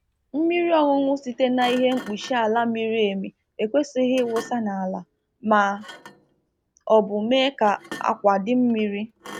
Mmiri ọñụñụ ụmụ ọkụkọ nke a na awunye na kom-kom dị omimi ekwesịghị ikwafu n'ala ma ọ bụ mee ka ala jụọ oyi